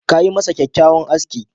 Ka yi masa kyakkyawan aski.